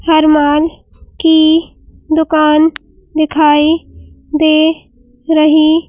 हरमान की दुकान दिखाई दे रही--